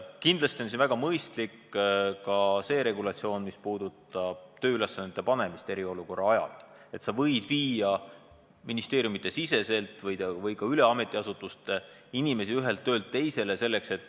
Kindlasti on väga mõistlik ka see regulatsioon, mis puudutab uute tööülesannete panemist eriolukorra ajal – seda, et sa võid viia ministeeriumi sees või ametiasutuste vahel inimesi ühelt töölt üle teisele.